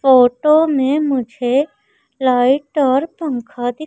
photo में मुझे light और पंखा दिख--